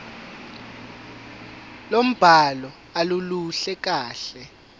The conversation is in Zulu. lombhalo aluluhle kahle